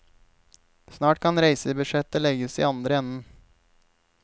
Snart kan reisebudsjettet legges i andre enden.